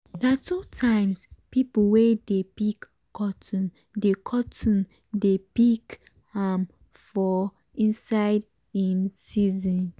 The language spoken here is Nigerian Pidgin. na two times people wey dey pick cotton dey cotton dey pick am for inside im season